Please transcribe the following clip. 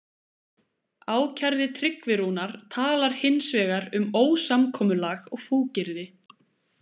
Ákærði Tryggvi Rúnar talar hins vegar um ósamkomulag og fúkyrði.